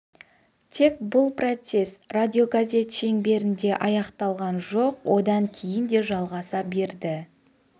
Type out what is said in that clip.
тек бұл процесс радиогазет шеңберінде аяқталған жоқ одан кейін де жалғаса берді